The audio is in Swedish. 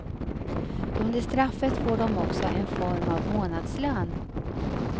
Under straffet får de också en form av månadslön.